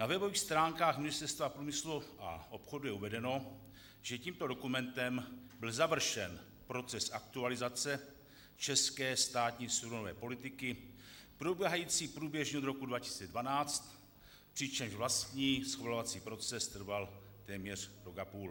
Na webových stránkách Ministerstva průmyslu a obchodu je uvedeno, že tímto dokumentem byl završen proces aktualizace české státní surovinové politiky probíhající průběžně od roku 2012, přičemž vlastní schvalovací proces trval téměř rok a půl.